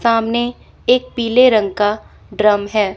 सामने एक पीले रंग का ड्रम है।